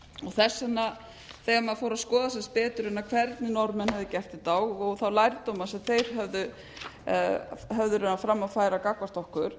þess vegna þegar maður fór að skoða betur hvernig norðmenn höfðu gert þetta og þá lærdóma sem þeir höfðu fram að færa gagnvart okkur